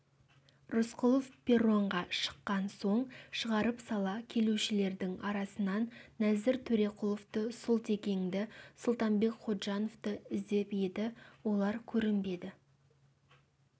рысқұлов перронға шыққан соң шығарып сала келушілердің арасынан нәзір төреқұловты сұлтекеңді сұлтанбек ходжановты іздеп еді олар көрінбеді